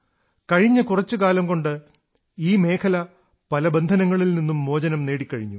കഴിഞ്ഞ കുറച്ചുകാലംകൊണ്ട് ഈ മേഖല പല ബന്ധനങ്ങളിൽ നിന്നും മോചനം നേടിക്കഴിഞ്ഞു